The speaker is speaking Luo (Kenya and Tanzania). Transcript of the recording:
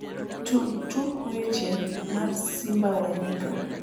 tug tuk weche mar simba wa nyika